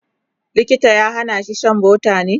likita ya Hana shi Shan butter ne?